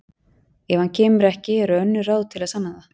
Ef hann kemur ekki eru önnur ráð til að sanna það